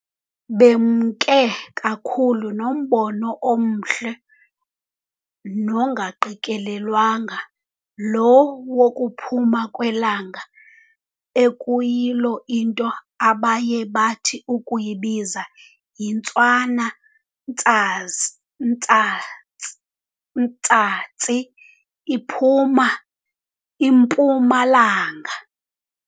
Bemke kakhulu nombono omhle nongaqikelelwanga, lo wokuphuma kwelanga, ekuyilo into abaye bathi ukuwubiza yiNtswana-ntsazi ntsatsi ntsatsi, iphuma impuma-langa.